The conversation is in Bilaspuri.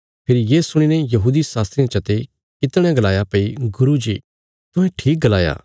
फेरी ये सुणीने यहूदी शास्त्रियां चा ते कितणेयां गलाया भई गुरू जी तुहें ठीक गलाया